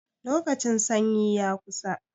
Lokacin sanyi ya kusa.